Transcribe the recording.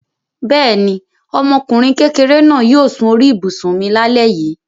Bẹ́ẹ̀ ni, ọmọkùnrin kékeré náà yóò sun orí ibùsùn mi lálẹ́ yìí.